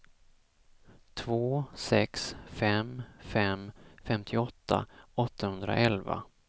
två sex fem fem femtioåtta åttahundraelva